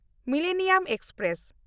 millennium express